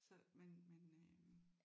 Så men men øh